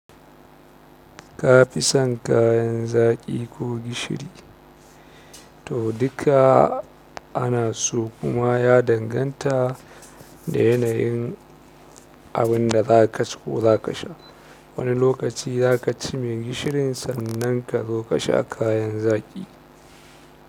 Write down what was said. Ka fi son kayan zaƙi ko gishiri? To duka ana so kuma ya danganta da yanayin abin da za ka ci ko za ka sha. Wani lokaci za ka ci mai gishirin sannan ka zo ka sha kayan zaƙi.